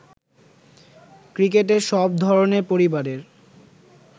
ক্রিকেটে সব ধরনের পরিবারের